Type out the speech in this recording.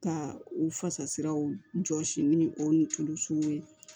Ka u fasaraw jɔsi ni o ni tulu sugu ye